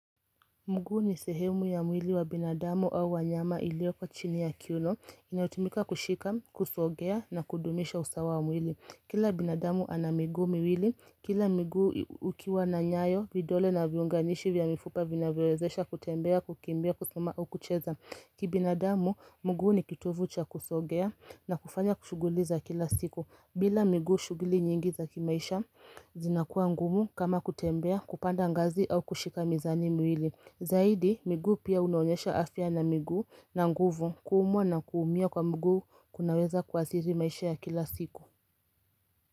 Mguu ni sehemu ya mwili wa binadamu au wanyama ilioko chini ya kiuno, inayotumika kushika, kusogea na kudumisha usawa wa mwili. Kila binadamu anamiguu miwili, kila mguu ukiwa na nyayo, vidole na viunganishi vya mifupa vinavyowezesha kutembea, kukimbia, kusuma au kucheza. Ki binadamu, mgu ni kitovucha kusogea na kufanya ku shuguliza kila siku. Bila migu shuguli nyingi za kimaisha, zinakua ngumu kama kutembea, kupanda ngazi au kushika mizani miwili. Zaidi miguu pia unaonyesha afya na miguu na nguvu kuumwa na kuumia kwa mgu kunaweza kuasiri maisha ya kila siku.